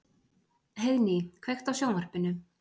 Heiðný, kveiktu á sjónvarpinu.